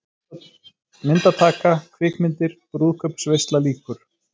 MYNDATAKA, KVIKMYNDIR, BRÚÐKAUPSVEISLA LÝKUR